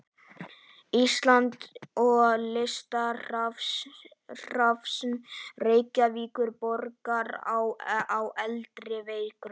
Íslands og Listasafns Reykjavíkurborgar á eldri verkum.